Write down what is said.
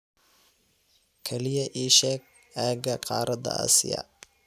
kaliya ii sheeg aagga qaaradda Aasiya